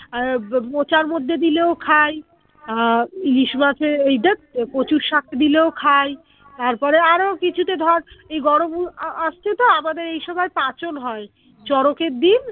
আর মোচার মধ্যে দিলেও খাই আহ ইলিশ মাছ এ এই ধ্যাৎ কচু শাক দিলেও খাই তারপরে আরো কিছুতে ধর এই আআসছে তো আমাদের এই সময় পাচন হয় চরকের দিন